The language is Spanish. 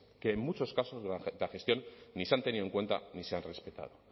que en muchos casos de la gestión ni se han tenido en cuenta ni se han respetado